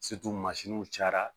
mansinw cayara